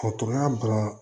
O tun y'a ban